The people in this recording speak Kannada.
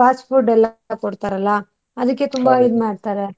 fast food ಎಲ್ಲ ಕೊಡ್ತಾರಲ್ಲ ಅದಿಕ್ಕೆ ತುಂಬಾ ಇದ್ ಮಾಡ್ತಾರೆ.